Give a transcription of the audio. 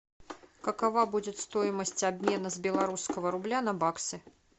какова будет стоимость обмена с белорусского рубля на баксы